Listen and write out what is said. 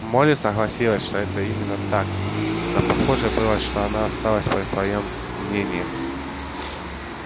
молли согласилась что это именно так но похоже было что она осталась при своём мнении